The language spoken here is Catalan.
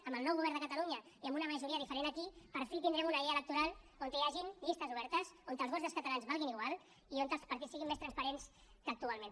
amb el nou govern de catalunya i amb una majoria diferent aquí per fi tindrem una llei electoral on hi hagin llistes obertes on els vots dels catalans valguin igual i on els partits siguin més transparents que actualment